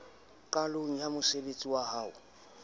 qalong ya mosebtsi wa ho